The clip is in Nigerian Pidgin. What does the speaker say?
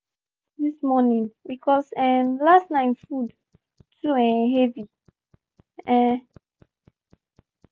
she chop oats this morning because um last night food too um heavy. um